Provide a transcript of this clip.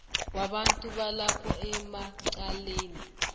wabantu balapho emacaleni